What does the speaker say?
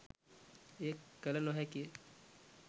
එය කළ නොහැකි ය.